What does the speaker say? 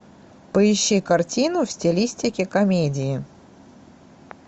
поищи картину в стилистике комедии